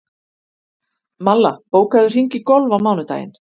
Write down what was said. Malla, bókaðu hring í golf á mánudaginn.